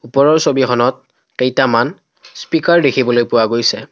ওপৰৰ ছবিখনত কেইটামান স্পিকাৰ দেখিবলৈ পোৱা গৈছে।